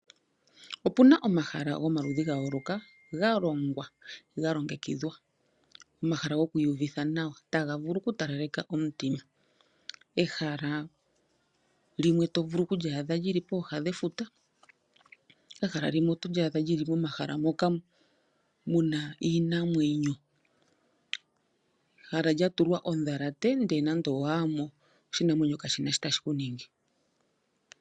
Opuna omahala gomaludhi ga yoolokaga longwa ga longekidhwa, onafala gokwiiyuvitha nawa taga vulu oku talaleka omutima. Ehala limwe to vulu oku li adha Lili pooha dhefuta, egama limwe oto vulu oku li adha lili pomahala mpoka ha pu kala iinamwenyo, egala lya tulwa ondhalate, ndee nande owa yamo oshinamwenyo ka shina sho tashi kuningi